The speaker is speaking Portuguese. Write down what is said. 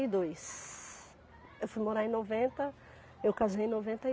e dois. Eu fui morar em noventa, eu casei em noventa e.